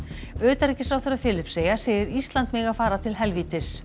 utanríkisráðherra Filippseyja segir Ísland mega fara til helvítis